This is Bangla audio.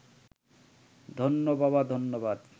ধন্য বাবা ধন্যবাদ